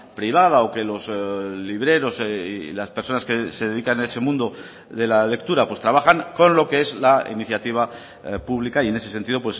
privada o que los libreros y las personas que se dedican a ese mundo de la lectura pues trabajan con lo que es la iniciativa pública y en ese sentido